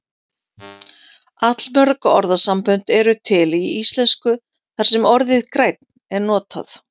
Allmörg orðasambönd eru til í íslensku þar sem orðið grænn er notað.